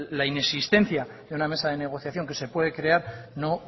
la inexistencia de una mesa de negociación que se pueda crear no